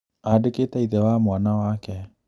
Andĩkĩte ithe na mwana wake